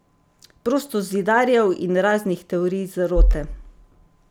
Prostozidarjev in raznih teorij zarote?